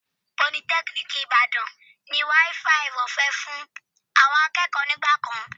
Politẹ́kíníìkì Ìbàdàn ní wááfaì ọ̀fẹ́ fún àwọn akẹ́kọ̀ọ́ nígbà kan